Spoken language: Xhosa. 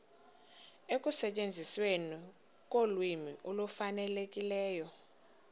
ekusetyenzisweni kolwimi olufanelekileyo